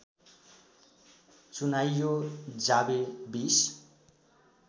चुनाइयो जावी २०